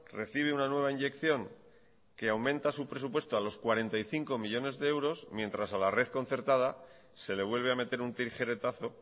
recibe una nueva inyección que aumenta su presupuesto a los cuarenta y cinco millónes de euros mientras a la red concertada se le vuelve a meter un tijeretazo